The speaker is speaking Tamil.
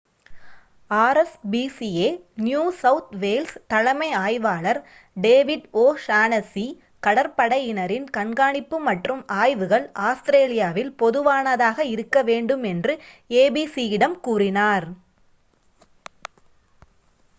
rspca நியூ சவுத் வேல்ஸ் தலைமை ஆய்வாளர் டேவிட் ஓ'ஷானஸ்ஸி கடற்படையினரின் கண்காணிப்பு மற்றும் ஆய்வுகள் ஆஸ்திரேலியாவில் பொதுவானதாக இருக்க வேண்டும் என்று abc யிடம் கூறினார்